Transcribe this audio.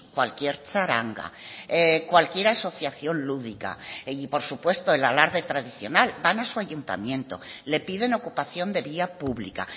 cualquier charanga cualquier asociación lúdica y por supuesto el alarde tradicional van a su ayuntamiento le piden ocupación de vía pública